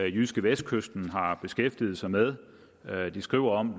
jydskevestkysten har beskæftiget sig med de skrev om